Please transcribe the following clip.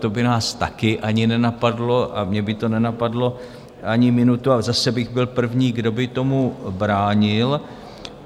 To by nás také ani nenapadlo a mě by to nenapadlo ani minutu a zase bych byl první, kdo by tomu bránil.